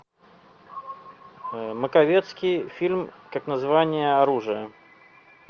маковецкий фильм как название оружия